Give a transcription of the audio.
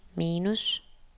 minus